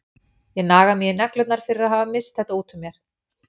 Ég naga mig í neglurnar fyrir að hafa misst þetta út úr mér.